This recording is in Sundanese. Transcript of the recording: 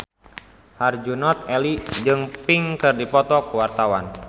Herjunot Ali jeung Pink keur dipoto ku wartawan